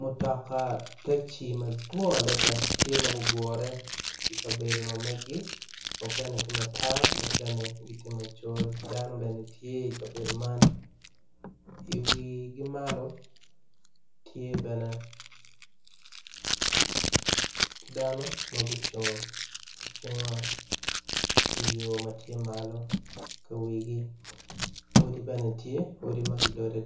Mutoka taxi tye mapol gugure i kabedo man i dyegi bene tye dano ma gucung odi bene tye ma gudode